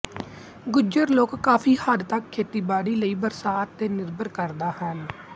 ਗੁਜਰ ਲੋਕ ਕਾਫ਼ੀ ਹੱਦ ਤੱਕ ਖੇਤੀਬਾੜੀ ਲਈ ਬਰਸਾਤ ਤੇ ਨਿਰਭਰ ਕਰਦਾ ਹਨ